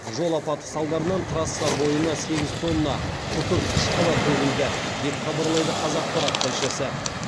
жол апаты салдарынан трасса бойына сегіз тонна күкірт қышқылы төгілді деп хабарлайды қазақпарат тілшісі